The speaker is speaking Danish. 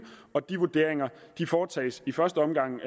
og de vurderinger foretages i første omgang